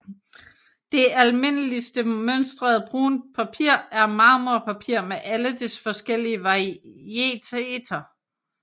Det almindeligste mønstrede buntpapir er marmorpapir med alle dets forskellige varieteter